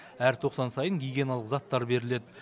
әр тоқсан сайын гигиеналық заттар беріледі